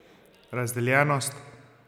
Razdeljenost?